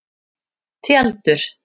Tjaldur